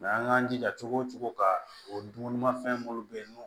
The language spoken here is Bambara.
an k'an jija cogo o cogo ka o dumunimafɛn minnu bɛ yen n'o